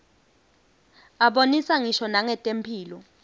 abonisa ngisho nangetemphilo